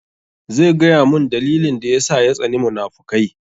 Zai gaya mun dalilin da yasa ya tsani munafukai